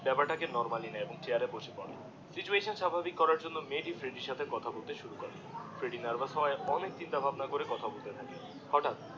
ব্যাপারটাকে নরমালি নিয়ে এবং চেয়ারে বসে পরে সিচুয়েশন স্বাভাবিক করার জন্যে মেয়েটি ফ্রেডির সাথে কথা বলতে শুরু করে ফ্রেডিডিএ নার্ভাস হয়ে অনেক চিন্তা ভাবনা করে কথা বলতে থাকে হটাৎ